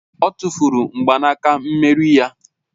Ọ tụ́furu mgbanaka mmeri ya